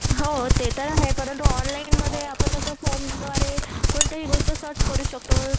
हो ते तर आहे परंतु ऑनलाईनमध्ये आपण कसं फोनद्वारे कोणतीही गोष्ट सर्च करू शकतो.